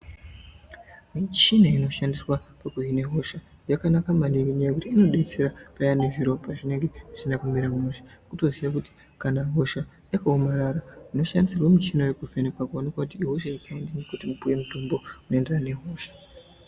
Mishini inoshandiswa pakuvheneka hosha ,yakanaka maningi nenyayayekuti inodetsera vaya vanenge vayine zviropa zvinenge zvisina kumira mushe. Kutoziva kuti kana hosha yakawomarara unoshandisirwa mishini yekuvhenekwa kuti ihosha ipi yapinda mumuiri wopiwe mitombo inoenderana nehosha.